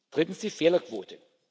Drittens die Fehlerquote.